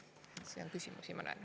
Siin on küsimusi, ma näen.